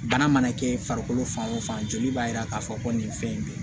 Bana mana kɛ farikolo fan o fan joli b'a yira k'a fɔ ko nin fɛn in be yen